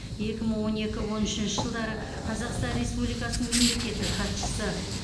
екі мың он екі он үшінші жылдары қазақстан республикасының мемлекеттік хатшысы